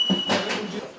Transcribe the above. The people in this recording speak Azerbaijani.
Qoy bunu götürəcək.